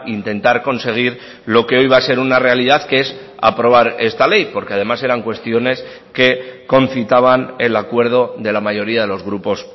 intentar conseguir lo que hoy va a ser una realidad que es aprobar esta ley porque además eran cuestiones que concitaban el acuerdo de la mayoría de los grupos